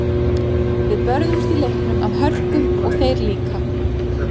Við börðumst í leiknum af hörku og þeir líka.